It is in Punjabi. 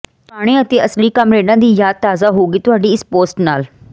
ਪੁਰਾਣੇ ਅਤੇ ਅਸਲੀ ਕਾਮਰੇਡਾਂ ਦੀ ਯਾਦ ਤਾਜ਼ਾ ਹੋ ਗਈ ਤੁਹਾਡੀ ਇਸ ਪੋਸਟ ਨਾਲ